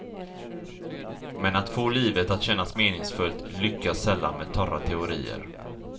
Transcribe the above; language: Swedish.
Men att få livet att kännas meningsfullt lyckas sällan med torra teorier.